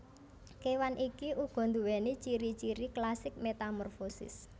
Kewan iki uga duwéni ciri ciri klasik metamorfosis